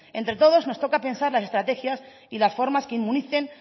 entre todos nos toca pensar las estrategias y las formas que inmunicen